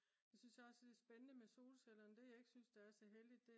så synes jeg også det er spændende med solcellerne. det jeg ikke synes der er så heldigt